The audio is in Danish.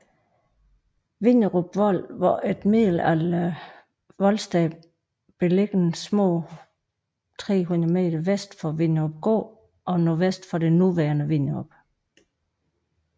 Vinderup Vold var et middelalderligt voldsted beliggende små 300 m vest for Vinderupgård og nordvest for det nuværende Vinderup